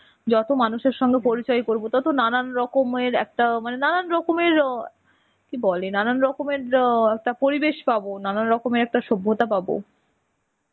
যত মানুষের সঙ্গে পরিচয় করবো ততো নানান রকমের একটা মানে নানান রকমের আ কি বলে নানান রকমের আ একটা পরিবেশ পাবো নানান রকমের একটা সভ্যতা পাবো.